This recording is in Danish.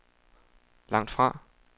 langtfra